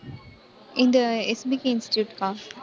இங்க SBK இன்ஸ்டிடியூட்கா